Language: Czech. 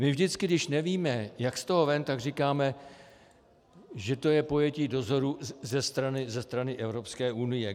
My vždycky, když nevíme, jak z toho ven, tak říkáme, že to je pojetí dozoru ze strany Evropské unie.